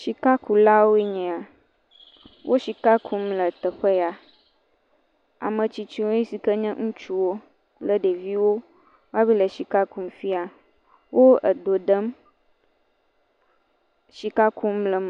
Sikakulawoe nye ya. Wo sika kum le teƒe ya. Ame tsitsiwoe si ke ŋutsuwo kple ɖeviwo wɔwoa le sika kum fiam. Wo edo ɖem.